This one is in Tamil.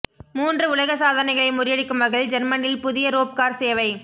மூன்று உலக சாதனைகளை முறியடிக்கும் வகையில் ஜெர்மனியில் புதிய ரோப் கார் சேவை